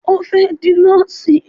O fẹ́ di Nọ́ọ̀sì